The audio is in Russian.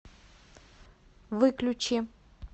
выключи